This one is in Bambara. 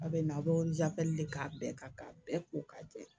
A bɛ na a bɛ de k'a bɛɛ ka bɛɛ ko ka jɛ